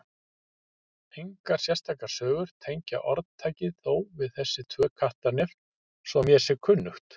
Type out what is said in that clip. Engar sérstakar sögur tengja orðtakið þó við þessi tvö Kattarnef svo mér sé kunnugt.